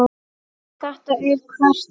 Þetta er hvert ár?